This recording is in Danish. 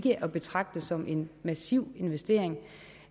at betragte som en massiv investering